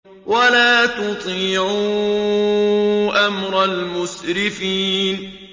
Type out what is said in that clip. وَلَا تُطِيعُوا أَمْرَ الْمُسْرِفِينَ